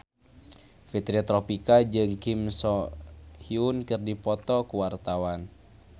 Fitri Tropika jeung Kim So Hyun keur dipoto ku wartawan